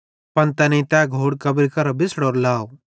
पन तैनेईं तै घोड़ कब्री करां बिछ़ड़ोरो लाव